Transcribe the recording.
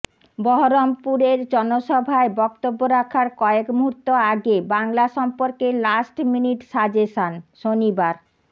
বহরমপুরের জনসভায় বক্তব্য রাখার কয়েক মুহূর্ত আগে বংলা সম্পর্কে লাস্ট মিনিট সাজেশন শনিবার